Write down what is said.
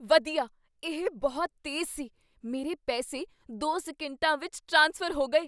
ਵਧੀਆ ਇਹ ਬਹੁਤ ਤੇਜ਼ ਸੀ ਮੇਰੇ ਪੈਸੇ ਦੋ ਸਕਿੰਟਾਂ ਵਿੱਚ ਟਰਾਂਸਫਰ ਹੋ ਗਏ